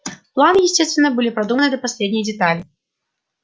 планы естественно были продуманы до последней детали